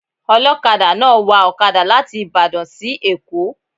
Ọlọkada náà wa ọkada láti Ìbàdàn sí èkó